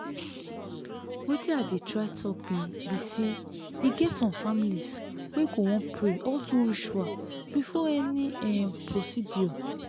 wetin i dey try talk be be saye get some families wey go wan pray or do ritual before any um procedure